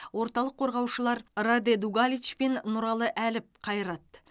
орталық қорғаушылар раде дугалич пен нұралы әліп қайрат